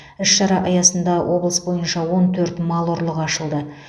іс шара аясында облыс бойынша он төрт мал ұрлығы ашылды